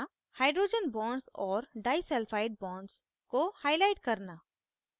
* hydrogen bonds और disulphide bonds को highlight करना